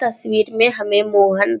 तसवीर में हमे मोहन --